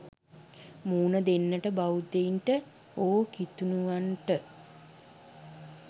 මුහුණ දෙන්නට බෞද්ධයින්ට හෝ කිතුනුවන්ට